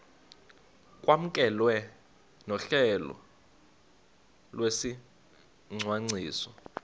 kwamkelwe nohlelo lwesicwangciso